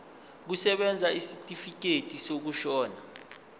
kusebenza isitifikedi sokushona